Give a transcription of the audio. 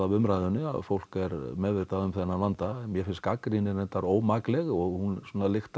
umræðunni að fólk er meðvitað um þennan vanda mér finnst gagnrýnin reyndar ómakleg og hún lyktar